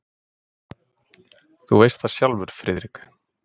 Þú veist það sjálfur, Friðrik.